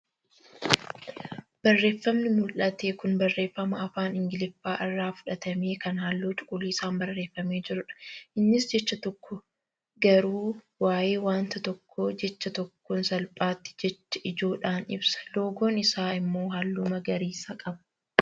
Barreeffamni mul'ate kun barreeffama afaan ingiliffaa irraa fudhatame kan halluu cuquliisaan barreeffamee jirudha. Innis jecha tokko garuu waayee wanta tokkoo jecha tokkoon salphaatti jecha ijoodhaan ibsa. Loogoon isaa immoo halluu magariisa qaba.